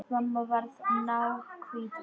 Mamma varð náhvít í framan.